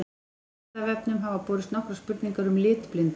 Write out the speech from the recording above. Vísindavefnum hafa borist nokkrar spurningar um litblindu.